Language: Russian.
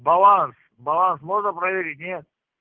баланс баланс можно проверить нет